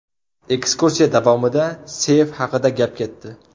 Ekskursiya davomida seyf haqida gap ketdi.